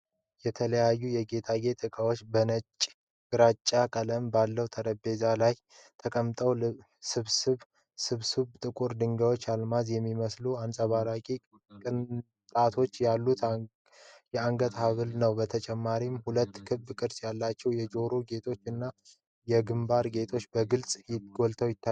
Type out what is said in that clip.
የተለያዩ የጌጣጌጥ ዕቃዎች በነጭና ግራጫ ቀለም ባለው ጠረጴዛ ላይ ተቀምጠዋል። ስብስቡ ጥቁር ድንጋዮችና አልማዝ የሚመስሉ አንጸባራቂ ቅንጣቶች ያሉት የአንገት ሐብል አለው። በተጨማሪም ሁለት ክብ ቅርጽ ያላቸው የጆሮ ጌጦች እና የግምባር ጌጥ በግልጽ ጎልተው ይታያሉ።